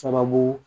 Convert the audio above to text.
Sababu